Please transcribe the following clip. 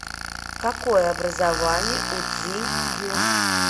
какое образование у цзинь юн